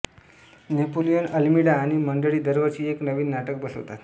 Napoleon Almeida आणि मंडळी दरवर्षी एक नवीन नाटक बसवतात